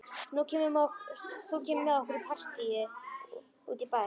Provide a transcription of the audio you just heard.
Þú kemur með okkur í partí út í bæ.